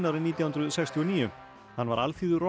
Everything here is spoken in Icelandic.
árið nítján hundruð sextíu og níu hann var